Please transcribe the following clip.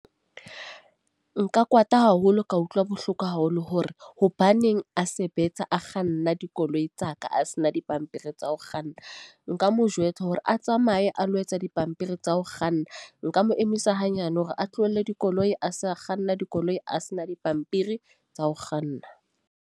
Nka kwata haholo, ka utlwa bohloko haholo hore hobaneng a sebetsa a kganna dikoloi tsa ka a sena dipampiri tsa ho kganna. Nka mo jwetsa hore a tsamaye a lo etsa dipampiri tsa ho kganna. Nka mo emisa hanyane hore a tlohelle dikoloi, a se a kganna dikoloi a sena dipampiri tsa ho kganna.